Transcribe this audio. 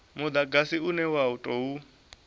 mudagasi une wa u tou